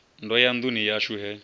ndo ya nduni yashu he